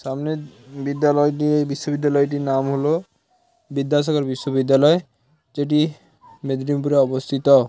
সামনে বি - বিদ্যালয়টি এই বিশ্ববিদ্যালয়টির নাম হল বিদ্যাসাগর বিশ্ববিদ্যালয় যেটি মেদিনীপুরে অবস্থিত।